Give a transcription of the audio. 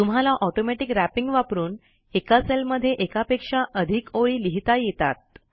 तुम्हाला automatic wrapping वापरून एका सेलमध्ये एकापेक्षा अधिक ओळी लिहिता येतात